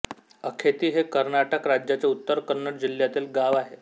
अखेती हे कर्नाटक राज्याच्या उत्तर कन्नड जिल्ह्यातील गाव आहे